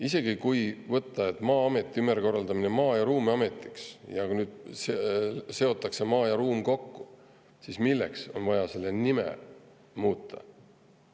Isegi kui võtta, et Maa-ameti ümberkorraldamine Maa- ja Ruumiametiks, maa ja ruumi kokkusidumine, siis milleks on vaja selle nime muuta?